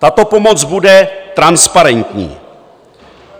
Tato pomoc bude transparentní.